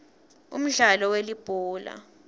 umdlalo welibhola